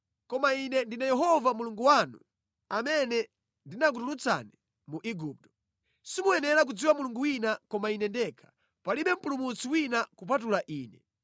Koma Ine ndine Yehova Mulungu wanu, amene ndinakutulutsani mu Igupto. Simuyenera kudziwa Mulungu wina, koma Ine ndekha, palibe Mpulumutsi wina kupatula Ine.